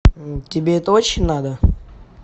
тебе это очень надо